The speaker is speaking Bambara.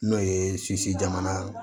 N'o ye jamana